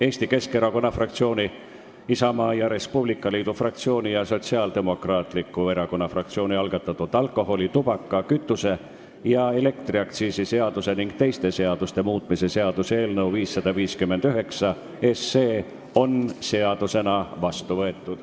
Eesti Keskerakonna fraktsiooni, Isamaa ja Res Publica Liidu fraktsiooni ning Sotsiaaldemokraatliku Erakonna fraktsiooni algatatud alkoholi-, tubaka-, kütuse- ja elektriaktsiisi seaduse ning teiste seaduste muutmise seaduse eelnõu 559 on seadusena vastu võetud.